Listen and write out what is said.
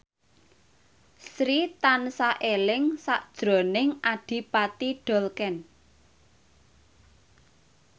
Sri tansah eling sakjroning Adipati Dolken